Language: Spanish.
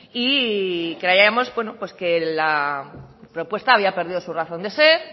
y creíamos que la propuesta había perdido su razón de ser